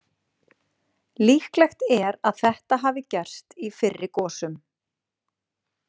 Líklegt er að þetta hafi gerst í fyrri gosum.